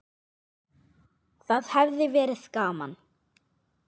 Það hefði verið gaman.